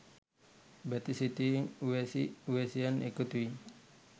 බැති සිතින් උවැසි උවැසියන් එකතු වී